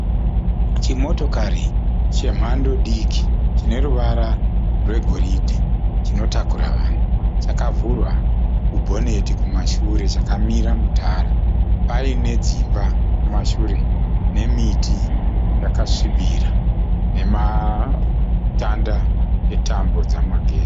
Chimotokari chemhando diki chine ruvara rwegoridhe chinotakura vanhu. Chakavhurwa kubhoneti kumashure chakamira mutara. Paine dzimba kumashure nemiti yakasvibira nematanda etambo dzemagetsi.